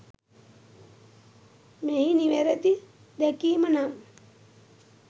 මෙහි නිවැරදි දැකීම නම්